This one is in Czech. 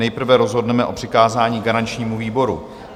Nejprve rozhodneme o přikázání garančnímu výboru.